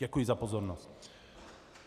Děkuji za pozornost.